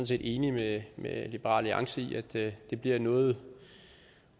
set enige med liberal alliance i at det bliver noget